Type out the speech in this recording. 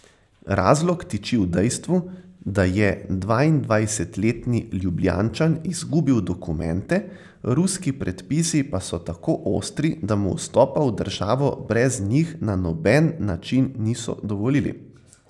Razlog tiči v dejstvu, da je dvaindvajsetletni Ljubljančan izgubil dokumente, ruski predpisi pa so tako ostri, da mu vstopa v državo brez njih na noben način niso dovolili.